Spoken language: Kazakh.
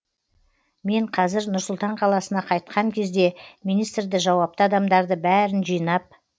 мен қәзір нұр сұлтан қаласына қайтқан кезде министрді жауапты адамдарды бәрін жинап